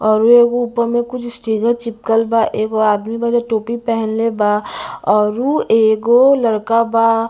ऊपर में कुछ चिपकल बा एगो आदमी बा जे टोपी पेनहले बा आउर उ एगो लड़का बा--